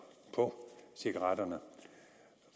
på cigaretpakkerne